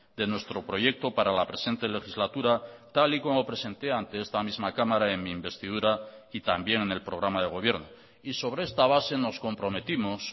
de nuestro proyecto para la presente legislatura tal y como presenté ante esta misma cámara en mi investidura y también en el programa de gobierno y sobre esta base nos comprometimos